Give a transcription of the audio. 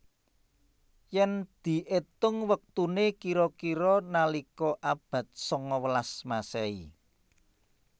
Yèn diétung wektuné kira kira nalika abad sangawelas Masehi